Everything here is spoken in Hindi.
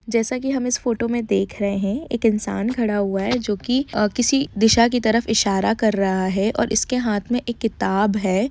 जैसा की हम फोटो में देख रहे हैं एक इन्सान खड़ा हुआ है जोकि किसी दिशा की तरफ इशारा कर रहा है और इसके हाथ में किताब है।